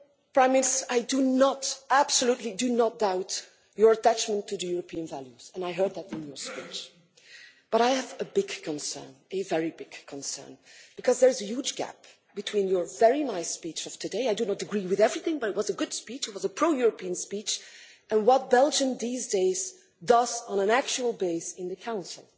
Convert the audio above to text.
Prime Minister, I do not absolutely do not doubt your attachment to European values and I heard that in your speech, but I have a big concern, a very big concern, because there's a huge gap between your very nice speech of today I do not agree with everything but it was a good speech, it was a pro European speech and what Belgium these days does on an everyday basis in the Council.